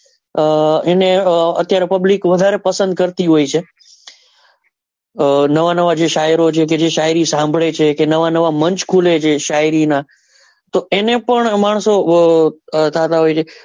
આહ અત્યારે public વધારે પસંદ કરતી હોય છે આહ નવા નવા શાયરો જે છે કે શાયરી સાંભળે છે કે નવા નવા munch ખુલે છે શાયરી નાં તો એને પણ માણસો.